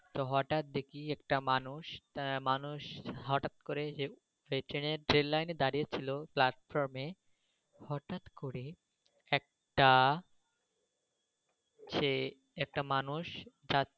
তো হঠাৎ দেখি একটা মানুষ~ মানুষ হঠাৎ করে পেছনে ট্রেন লাইনে দাঁড়িয়েছিল প্লাটফর্মে হঠাৎ করে একটা সে একটা মানুষ